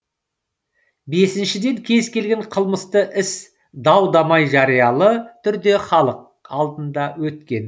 бесіншіден кез келген қылмысты іс дау дамай жариялы түрде халық алдында өткен